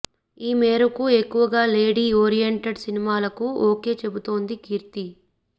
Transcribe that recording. ఈ మేరకు ఎక్కువగా లేడీ ఓరియెంటెడ్ సినిమాలకు ఓకే చెబుతోంది కీర్తి